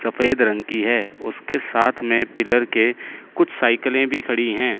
सफेद रंग की है उसके साथ में पिलर के कुछ साइकिले भी खड़ी है।